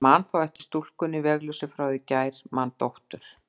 En man þá eftir stúlkunni vegalausu frá í gær, man dóttur